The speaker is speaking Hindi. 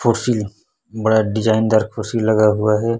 कुर्सी बड़ा डिजाइनर दार कुर्सी लगा हुआ है।